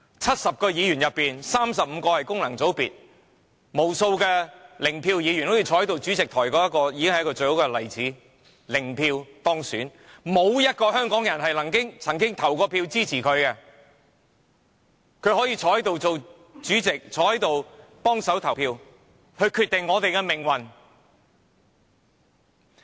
70位議員之中，有35位來自功能界別，無數零票議員，正如坐在台上的主席便是最好的例子，他零票當選，沒有一名香港人曾經投票支持他，但他可以坐在這裏當主席，坐在這裏幫忙投票，決定我們的命運。